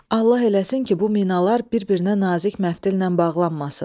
Allah eləsin ki, bu minalar bir-birinə nazik məftillə bağlanmasın.